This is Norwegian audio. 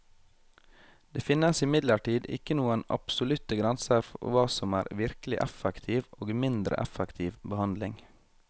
Det finnes imidlertid ikke noen absolutte grenser for hva som er virkelig effektiv og mindre effektiv behandling.